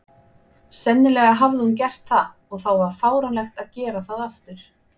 Sennilega hafði hún gert það, og þá var fáránlegt að gera það aftur.